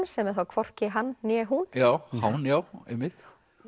sem er þá hvorki hann né hún hán já einmitt